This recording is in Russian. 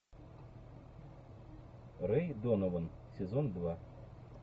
рэй донован сезон два